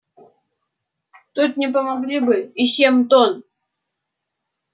тут не помогли бы и семь тонн